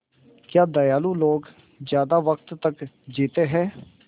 क्या दयालु लोग ज़्यादा वक़्त तक जीते हैं